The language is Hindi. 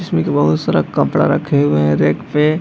इसमें के बहुत सारा कपड़ा रखे हुए हैं रेख पे।